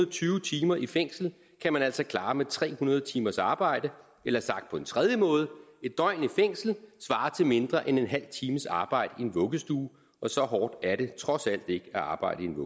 og tyve timer i fængsel kan man altså klare med tre hundrede timers arbejde eller sagt på en tredje måde en døgn i fængsel svarer til mindre end en halv times arbejde i en vuggestue og så hårdt er det trods alt ikke at arbejde i en